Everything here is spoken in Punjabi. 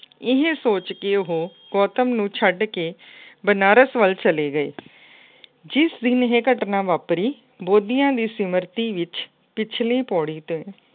ਇਹ ਸੋਚ ਕੇ ਉਹ ਗੌਤਮ ਨੂੰ ਛੱਡ ਕੇ ਬਨਾਰਸ ਵੱਲ ਚਲੇ ਗਏ। ਜਿਸ ਦਿਨ ਇਹ ਘਟਨਾ ਵਾਪਰੀ, ਬੌਧੀਆਂ ਦੀ ਸਮਿਰਤੀ ਵਿੱਚ ਪਿਛਲੀ ਪੌੜੀ ਤੇ